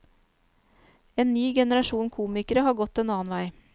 En ny generasjon komikere har gått en annen vei.